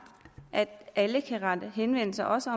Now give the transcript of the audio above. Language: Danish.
at alle kan rette henvendelse også